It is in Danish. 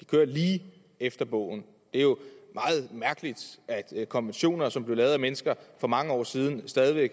de kører lige efter bogen det er jo meget mærkeligt at konventioner som blev lavet af mennesker for mange år siden stadig væk